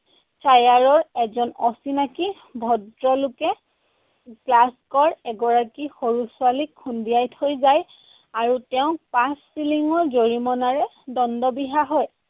এজন অচিনাকী ভদ্ৰলোকে এগৰাকী সৰু ছোৱালীক খুন্দিয়াই থৈ যায়। আৰু তেওঁক পাঁচ চিলিঙৰ জৰিমনাৰে দণ্ড বিহা হয়।